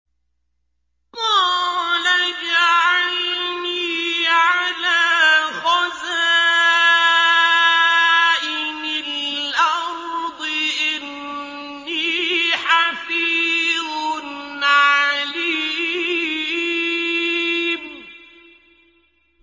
قَالَ اجْعَلْنِي عَلَىٰ خَزَائِنِ الْأَرْضِ ۖ إِنِّي حَفِيظٌ عَلِيمٌ